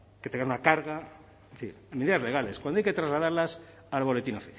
que tengan una carga es decir en medidas legales cuando hay que trasladarlas al boletín